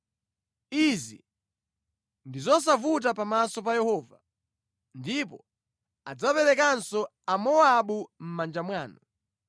Izi ndi zosavuta pamaso pa Yehova. Ndipo adzaperekanso Amowabu mʼmanja mwanu.